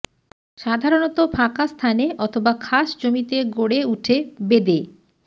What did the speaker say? সাধারণত ফাঁকা স্থানে অথবা খাস জমিতে গড়ে উঠে বেদে